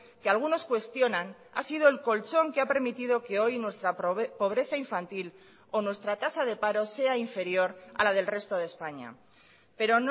que algunos cuestionan ha sido el colchón que ha permitido que hoy nuestra pobreza infantil o nuestra tasa de paro sea inferior a la del resto de españa pero